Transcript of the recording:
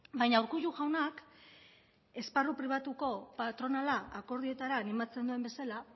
baina urkullu jaunak esparru pribatuko patronala akordioetara animatzen duen bezala